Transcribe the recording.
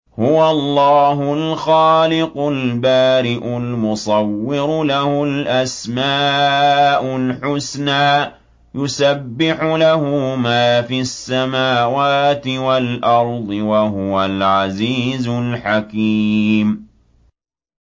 هُوَ اللَّهُ الْخَالِقُ الْبَارِئُ الْمُصَوِّرُ ۖ لَهُ الْأَسْمَاءُ الْحُسْنَىٰ ۚ يُسَبِّحُ لَهُ مَا فِي السَّمَاوَاتِ وَالْأَرْضِ ۖ وَهُوَ الْعَزِيزُ الْحَكِيمُ